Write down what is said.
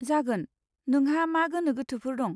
जागोन, नोंहा मा गोनो गोथोफोर दं?